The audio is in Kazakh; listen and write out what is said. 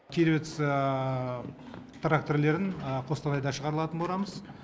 кировец тракторлерін қостанайда шығарылатын боламыз